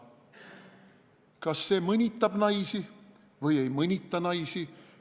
" Kas see mõnitab naisi või ei mõnita naisi?